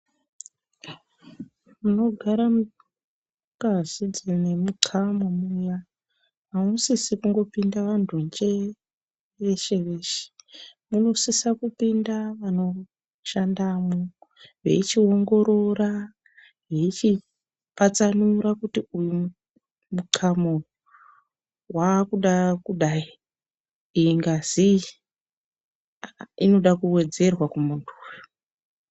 Munogara ngazi dzinemixamo muya hamusisi kungopinda vantu njee veshe-veshe. Munosisa kupinda vanoshandamwo, veichiongorora veichipatsanura kuti uwu muxamo uyu, waakuda kudai, iyi ngazi iyi inoda kuwedzerwa kumuntu uyu.